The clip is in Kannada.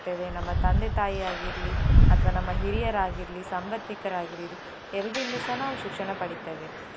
ತಂದೆ-ತಾಯಿ ಆಗಿರ್ಲಿ ಅಥವಾ ನಮ್ಮ ಹಿರಿಯರಾಗಿರ್ಲಿ, ಸಂಬಂಧಿಕರಾಗಿರ್ಲಿ ಎಲ್ಲರಿಂದಸ ನಾವು ಶಿಕ್ಷಣ ಪಡಿತೇವೆ.